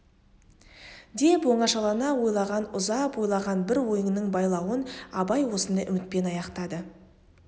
деп оңашалана ойлаған ұзап ойлаған бір ойының байлауын абай осындай үмітпен аяқтады